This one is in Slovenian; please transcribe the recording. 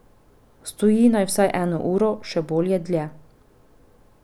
Stoji naj vsaj eno uro, še bolje dlje.